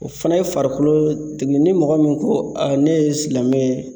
O fana ye farikolo tigi ni mɔgɔ min ko ne ye silamɛ ye.